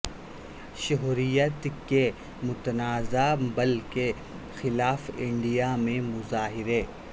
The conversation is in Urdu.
شہریت کے متنازع بل کے خلاف انڈیا میں مظاہرے